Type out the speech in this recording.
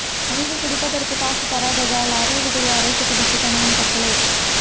மனைவி குடிப்பதற்கு காசு தராததால் அரளி விதை அரைத்துக் குடித்து கணவன் தற்கொலை